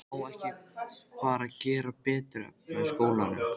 Má ekki bara gera betur, efla skólann?